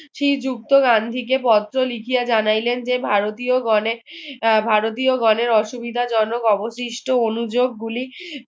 শ্রীযুক্ত গান্ধীকে পত্র লিখিয়া জানাইলেন যে ভারতীয় গণের ভারতীয় গণের অসুবিধাজনক অবশিষ্ট অনুযোগগুলি